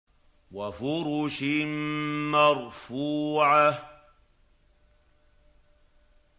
وَفُرُشٍ مَّرْفُوعَةٍ